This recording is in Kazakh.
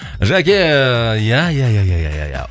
жәке ия ия ия ия ия ия